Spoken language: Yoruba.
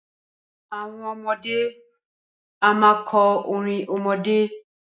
Àwọn ọmọdé a máa kọ orin ọmọdé.